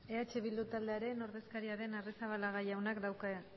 eh bildu taldearen ordezkaria den